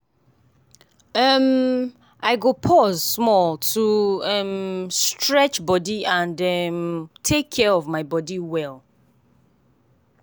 um i go pause small to um stretch body and um take care of my body well.